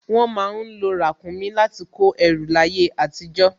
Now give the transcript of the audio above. Wọ́n má ń lo ràkúnmí láti kó ẹrù láyé àtijọ́